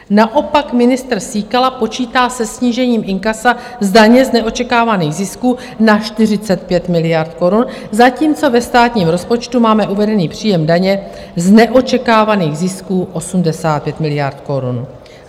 Naopak ministr Síkela počítá se snížením inkasa z daně z neočekávaných zisků na 45 miliard korun, zatímco ve státním rozpočtu máme uvedený příjem daně z neočekávaných zisků 85 miliard korun.